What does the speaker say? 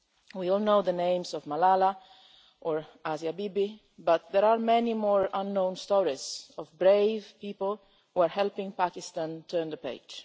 We all know the names of Malala or Asia Bibi, but there are also many more unknown stories of brave people who are helping Pakistan turn the page.